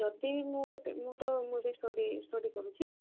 ଯଦି ମୁଁ ଗୋଟେ ମୁଁ ତ ମୁଁ study କରୁଛି